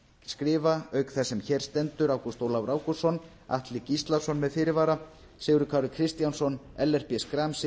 skrifa auk þess sem hér stendur ágúst ólafur ágústsson atli gíslason með fyrirvara sigurður kári kristjánsson ellert b schram siv